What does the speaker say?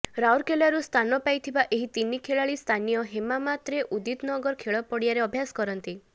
ରାଉରକେଲାରୁ ସ୍ଥାନପାଇଥିବା ଏହି ତିନି ଖେଳାଳି ସ୍ଥାନୀୟ ହେମାମାତରେ ଉଦିତନଗର ଖେଳପଡ଼ିଆରେ ଅଭ୍ୟାସ କରନ୍ତି